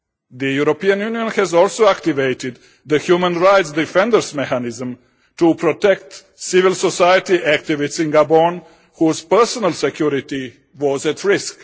The European Union has also activated the human rights defenders mechanism to protect civil society activists in Gabon whose personal security was at risk.